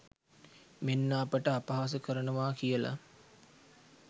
මෙන්න අපිට අපහාස කරනවා කියලා.